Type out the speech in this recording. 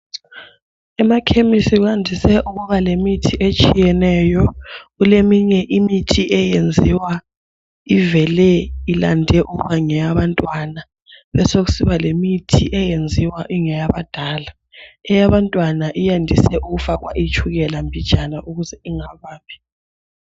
Emakhemisi kwandise ukuba lemithi etshiyeneyo, kuleminye imithi eyenziwa ivele ilande ukuba ngeyabantwana , besoku siba lemithi eyenziwa ingeyabadala, eyabantwana yandise ukufakwa itshukela mbijana ukuze ingababi.